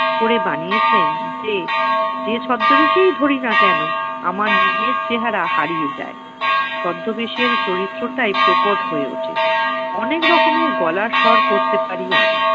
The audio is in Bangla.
করে বানিয়েছেন যে, যে ছদ্মবেশই ধরি না কেন আমার নিজের চেহারা হারিয়ে যায়। ছদ্মবেশের চরিত্রটাই প্রকট হয়ে ওঠে। অনেক রকমের গলার স্বর করতে পারি আমি।